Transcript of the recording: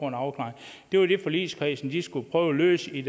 en afklaring det var det forligskredsen skulle prøve at løse i